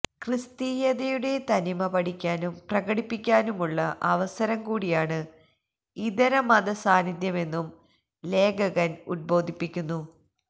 ക്രിസ്തീയതയുടെ തനിമ പഠിക്കാനും പ്രകടിപ്പിക്കാനുമുള്ള അവസരം കൂടിയാണ് ഇതരമതസാന്നിധ്യമെന്നും ലേഖകൻ ഉദ്ബോധിപ്പിക്കുന്നു